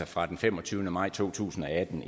fra den femogtyvende maj to tusind og atten